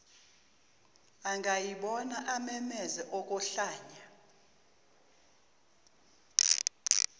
angayibona amemeze okohlanya